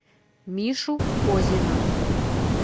мишу козина